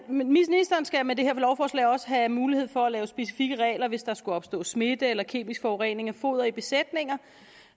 ministeren skal med det her lovforslag også have mulighed for at lave specifikke regler hvis der skulle opstå smitte eller kemisk forurening af foder i besætninger